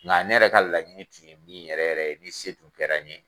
Nga ne yɛrɛ ka laɲini tun ye min yɛrɛ yɛrɛ ye ni se tun kɛra n ye.